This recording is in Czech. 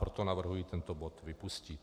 Proto navrhuji tento bod vypustit.